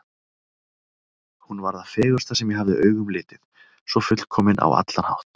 Hún var það fegursta sem ég hafði augum litið, svo fullkomin á allan hátt.